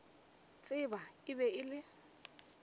tseba e be e le